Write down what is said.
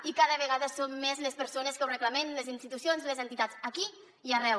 i cada vegada som més les persones que ho reclamem les institucions i les entitats aquí i arreu